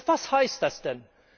Was heißt das denn?